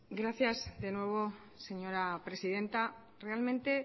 gracias de nuevo señora presidenta realmente